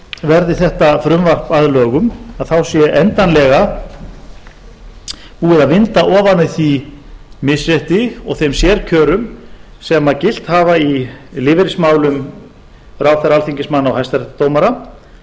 verði þetta frumvarp að lögum að þá sé endanlega búið að vinda ofan af því misrétti og þeim sérkjörum sem hafa gilt í lífeyrismálum ráðherra alþingismanna og